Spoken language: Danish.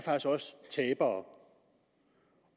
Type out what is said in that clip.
tabere